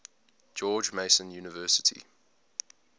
george mason university